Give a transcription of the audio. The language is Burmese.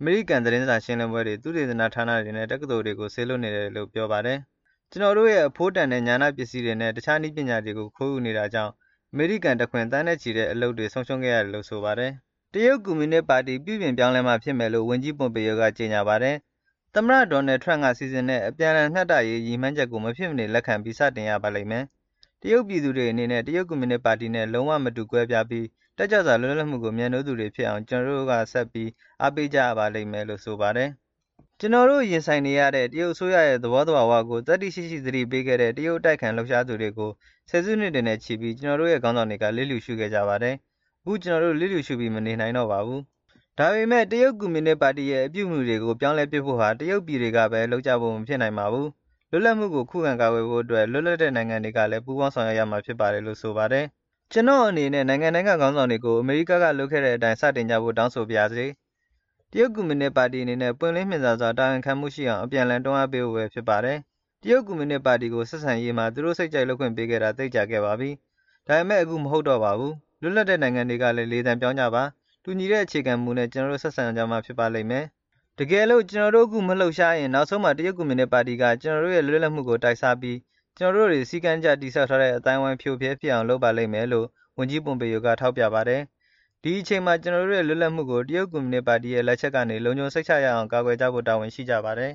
အမေရိကန်သတင်းစာရှင်းလင်းပွဲတွေ၊ သုတေသနဌာနတွေနဲ့ တက္ကသိုလ်တွေကို စေလွှတ်နေပါတယ်လို့ ပြောပါတယ်။ “ကျနော်တို့ရဲ့ အဖိုးတန်တဲ့ ဉာဏပစ္စည်းတွေနဲ့ တခြား နည်းပညာတွေကို ခိုးယူနေတာကြောင့် အမေရိကန်တခွင် သန်းနဲ့ ချီတဲ့အလုပ်တွေ ဆုံးရှုံးခဲ့ရတယ်” လို့ ဆိုပါတယ်။ တရုတ်ကွန်မြူနစ်ပါတီပြုပြင်ပြောင်းလဲမှဖြစ်မယ်လို့ ဝန်ကြီး Pompeo က ကြေညာပါတယ်။ သမ္မတ Donald Trump စီစဉ်တဲ့ အပြန်လှန်မျှတရေးဆိုတဲ့ ရည်မှန်းချက်ကို မဖြစ်မနေ လက်ခံပြီး စတင်ရပါလိမ့်မယ်။ တရုတ်ပြည်သူတွေအနေနဲ့ တရုတ်ကွန်မြူနစ်ပါတီနဲ့ လုံးဝမတူကွဲပြားပြီး တက်ကြွစွာ လွတ်လပ်မှုကို မြတ်နိုးတဲ့သူတွေဖြစ်အောင် ကျနော်တို့ ဆက်ပြီး အားပေးကြရပါလိမ့်မယ် လို့ ဆိုပါတယ်။ " ကျနော်တို့ ရင်ဆိုင်နေရတဲ့ တရုတ်အစိုးရရဲ့ သဘောသဘာဝကိုသတ္တိရှိရှိသတိပေးခဲ့တဲ့ တရုတ်အတိုက်အခံ လှုပ်ရှားသူတွေကို ၁၀ စုနှစ်တွေနဲ့ချီပြီး ကျနော်တို့ရဲ့ ခေါင်းဆောင်တွေကလျစ်လျုရှုခဲ့ကြပါတယ်။ အခု ကျနော်တို့ လျစ်လျူရှုပြီး မနေနိုင်တော့ပါဘူး။" ဒါပေမဲ့ တရုတ်ကွန်မြုနစ်ပါတီရဲ့ အပြုအမှုတွေကို ပြောင်းလဲဖို့ဟာ တရုတ်ပြည်တွေကဘဲ လုပ်ကြဖို့မဖြစ်နိုင်ပါဘူး။ လွတ်မြောက်မှုကို ခုခံကာကွယ်ဖို့ အတွက် လွတ်လပ်တဲ့နိုင်ငံတွေကလည်း ပူးပေါင်းဆောင်ရွက်ရမှာဖြစ်ပါတယ်လို့ ဆိုပါတယ်။ “ကျနော်အနေနဲ့ နိုင်ငံတိုင်းကခေါင်းဆောင်တွေကို အမေရိကန်က လုပ်ခဲ့တဲ့အတိုင်း စတင်ကြဖို့တောင်းဆိုပါရစေ။တရုတ်ကွန်မြုနစ်ပါတီအနေနဲ့ ပွင့်လင်းမြင်သာစွာ၊ တာဝန်ခံမှုရှိအောင် အပြန်အလှန်တွန်းအားပေးဖို့ဘဲဖြစ်ပါတယ်။ တရုတ်ကွန်မြူနစ်ပါတီကို ဆက်ဆံရေးမှာ သူတို့စိတ်ကြိုက်လုပ်ခွင့်ပေးခဲ့တာ သိပ်ကြာခဲ့ပါပြီ။ ဒါပေမဲ့ အခုမဟုတ်တော့ပါဘူး။ လွတ်လပ်တဲ့နိုင်ငံတွေကလည်း လေသံပြောင်းကြပါ။ တူညီတဲ့အခြေခံ မူနဲ့ ကျနော်တို့ ဆက်ဆံကြမှ ဖြစ်ပါလိမ့်မယ်။ တကယ်လို့ ကျနော်တို့အခု မလှုပ်ရှားရင်၊ နောက်ဆုံးမှာ တရုတ်ကွန်မြူနစ်ပါတီက ကျနော်တို့ရဲ့ လွတ်လပ်မှုကို တိုက်စားပြီး၊ ကျနော်တို့ တွေ စည်းကမ်းတကျတည်ဆောက်ထားတဲ့ အသိုင်းအဝိုင်း ဖရိုဖရဲဖြစ်အောင်လုပ်ပါလိမ့်မယ်” “ဒီအချိန်မှာ ကျနော်တို့ရဲ့ လွတ်လပ်မှုကို တရုတ်ကွန်မြူနစ်ပါတီရဲ့ လက်ချက်ကနေ လုံခြုံစိတ်ချရအောင်ကာကွယ်ကြဖို့တာဝန်ရှိကြပါတယ်